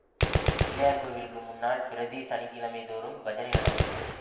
பிள்ளையார் கோவிலுக்கு முன்னால் பிரதி சனி கிழமை தோறும் பஜனை நடந்தது